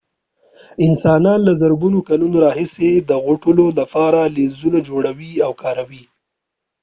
انسانان له زرګونو کلونو راهيسې د غټولو لپاره لينزونه جوړوي او کاروي